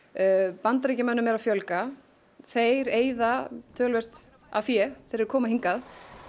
Bandaríkjamönnum er að fjölga þeir eyða töluvert af fé þegar þeir koma hingað